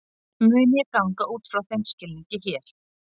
Mun ég ganga út frá þeim skilningi hér.